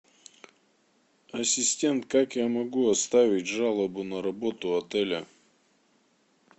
ассистент как я могу оставить жалобу на работу отеля